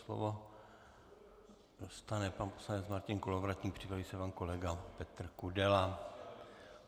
Slovo dostane pan poslanec Martin Kolovratník, připraví se pan kolega Petr Kudela.